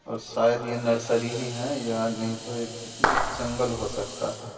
और शायद ये नर्सरी ही है या नहीं तो एक एक जंगल हो सकता है।